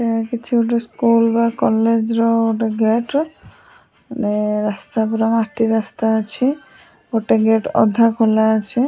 ଏହା କିଛି ଗୋଟେ ସ୍କୁଲ୍ ବା କଲେଜ୍ ର ଗୋଟେ ଗେଟ୍ ନେ ରାସ୍ତା ପୁରା ମାଟି ରାସ୍ତା ଅଛି ଗୋଟେ ଗେଟ୍ ଅଧା ଖୋଲା ଅଛି।